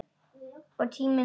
Og tíminn leið.